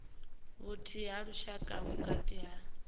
vhuthihi ha lushaka vhukati ha